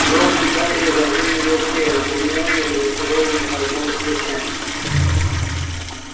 рон и гарри разинули рты а гермиона разочарованно пожала плечами